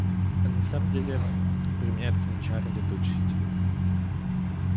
а на самом деле применяет к ней чары летучести